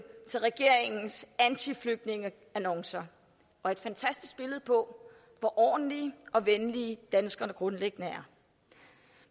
til regeringens antiflygtningeannoncer og et fantastisk billede på hvor ordentlige og venlige danskerne grundlæggende er